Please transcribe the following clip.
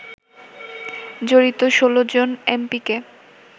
জড়িত ১৬ জন এমপিকে